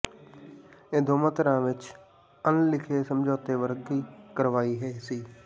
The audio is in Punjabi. ਇਹ ਦੋਵਾਂ ਧਿਰਾਂ ਵਿੱਚ ਅਣਲਿਖੇ ਸਮਝੌਤੇ ਵਰਗੀ ਕਾਰਵਾਈ ਸੀ